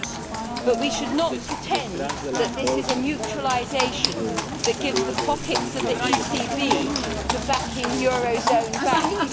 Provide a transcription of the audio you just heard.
However, we should not pretend that this is a mutualisation that gives over the pockets of the ECB to backing euro zone banks.